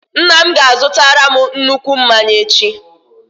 Nna m ga-azutara m nnukwu mmanya echi.